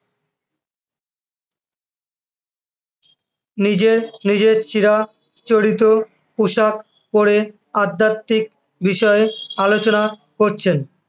নিজের নিজের চিরাচরিত পোশাক পরে আধ্যাত্মিক বিষয়ে আলোচনা করছেন।